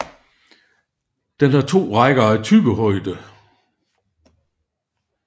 Den har to rækker af tyggehøje